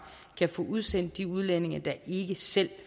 kan få udsendt de udlændinge der ikke selv